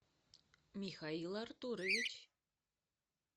михаил артурович